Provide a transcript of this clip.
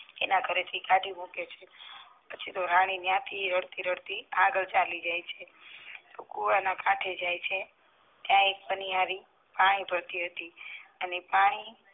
એના ઘરે થી કાઢી મૂકે છે પછી તો રાની ત્યાં થી રડતી રડતી આગળ ચાલી જાય છે કૂવાના કાંઠે જાય છે ત્યાં એક ન્યારી પાણી ભરતી હતી અને પાણી